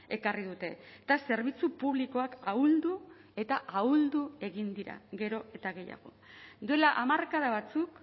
ekarri dute eta zerbitzu publikoak ahuldu eta ahuldu egin dira gero eta gehiago duela hamarkada batzuk